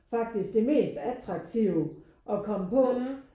Faktisk det mest attraktive at komme på